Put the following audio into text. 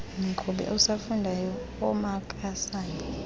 mqhubi osafundayo omakazame